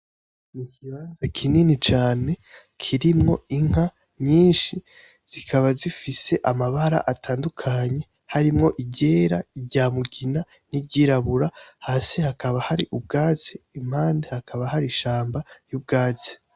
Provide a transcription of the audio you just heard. Ikibanza kinini cane kirimwo inka nyinshi zikaba zifise amabara atandukanye harimwo iryera, iry'amugina n'iryirabura hasi hakaba hari ubwatsi impande hakaba hari ishamba y'ubwatsi.